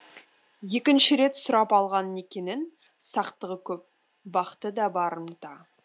екінші рет сұрап алған некенің сақтығы көп бақыты да барымта